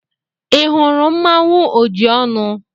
Ị hụrụ mmanụ Ojiọnụ?